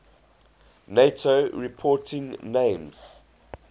nato reporting names